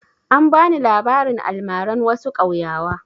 An ba ni labarin almaran wasu ƙauyawa.